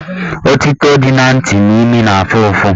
Otito dị na ntị na imi na-afụ ụfụ